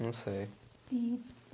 Não sei. E